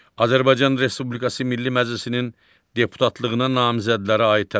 Azərbaycan Respublikası Milli Məclisinin deputatlığına namizədlərə aid tələblər.